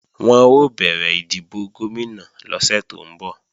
Wọn ó bẹ̀rẹ̀ ìdìbò Gómìnà lọ́sẹ̀ tó ń bọ̀